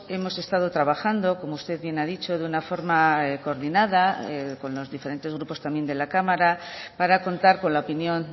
hemos estado trabajando como usted bien ha dicho de una forma coordinada con los diferentes grupos también de la cámara para contar con la opinión